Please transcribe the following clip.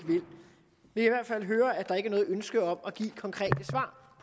hvert fald høre at der ikke er noget ønske om at give konkrete svar